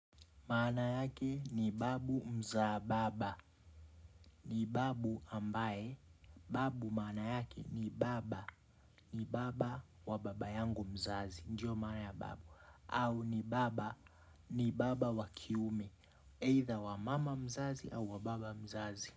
Maana yake ni babu mzaa baba. Ni babu ambaye. Babu mana yake ni baba. Ni baba wa baba yangu mzazi. Ndio maana ya babu. Au ni baba. Ni baba wa kiume. Aidha wa mama mzazi au wa baba mzazi.